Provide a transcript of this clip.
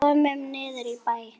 Komum niður í bæ!